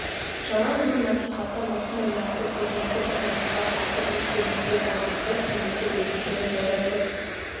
жалаң мың насихаттан осындай нақты көрнекті бір насихат артық естеріңізде болсын біз кеңестік ресейдің ірі бір